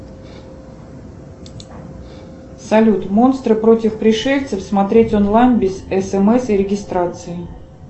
салют монстры против пришельцев смотреть онлайн без смс и регистрации